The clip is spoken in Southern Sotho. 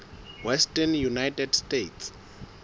western united states